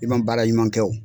I ma baara ɲuman kɛ o